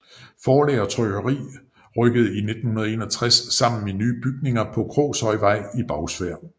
Forlag og trykkeri rykkede i 1961 sammen i nye bygninger på Krogshøjvej i Bagsværd